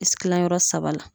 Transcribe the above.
Isi Kila yɔrɔ saba la